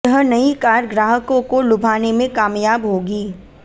यह नयी कार ग्राहकों को लुभाने में कामयाब होगी